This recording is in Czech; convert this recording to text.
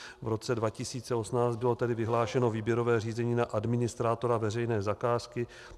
V roce 2018 bylo tedy vyhlášeno výběrové řízení na administrátora veřejné zakázky.